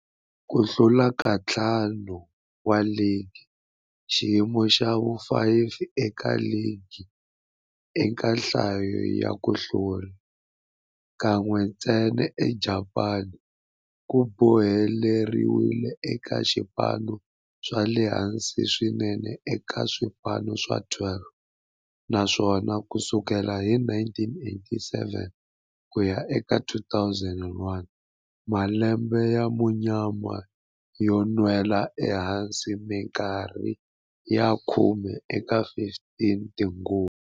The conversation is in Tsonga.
Ku hlula ka ntlhanu wa ligi, xiyimo xa vu-5 eka ligi eka nhlayo ya ku hlula, kan'we ntsena eJapani, ku boheleriwile eka swipano swa le hansi swinene eka swipano swa 12, naswona ku sukela hi 1987 ku ya eka 2001, malembe ya munyama yo nwela ehansi minkarhi ya khume eka 15 tinguva.